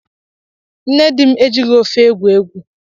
Nne dim ejighi ofe egwu egwu